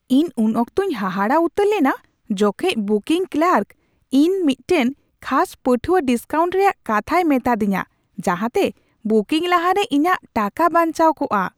ᱤᱧ ᱩᱱ ᱚᱠᱛᱚᱧ ᱦᱟᱦᱟᱲᱟᱜ ᱩᱛᱟᱹᱨ ᱞᱮᱱᱟ ᱡᱚᱠᱷᱮᱡ ᱵᱩᱠᱤᱝ ᱠᱞᱟᱨᱠ ᱤᱧ ᱢᱤᱫᱴᱟᱝ ᱠᱷᱟᱥ ᱯᱟᱹᱴᱷᱩᱣᱟᱹ ᱰᱤᱥᱠᱟᱣᱩᱱᱴ ᱨᱮᱭᱟᱜ ᱠᱟᱛᱷᱟᱭ ᱢᱮᱛᱟᱫᱤᱧᱟᱹ ᱡᱟᱦᱟᱛᱮ ᱵᱩᱠᱤᱝ ᱞᱟᱦᱟᱨᱮ ᱤᱧᱟᱹᱜ ᱴᱟᱠᱟ ᱵᱟᱧᱪᱟᱣ ᱠᱚᱜᱼᱟ ᱾